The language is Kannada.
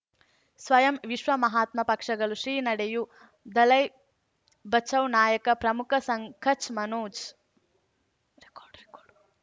ಸ್ವಯಂ ವಿಶ್ವ ಮಹಾತ್ಮ ಪಕ್ಷಗಳು ಶ್ರೀ ನಡೆಯೂ ದಲೈ ಬಚೌ ನಾಯಕ ಪ್ರಮುಖ ಸಂಘ ಕಚ್ ಮನೋಜ್